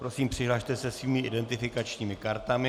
Prosím, přihlaste se svými identifikačními kartami.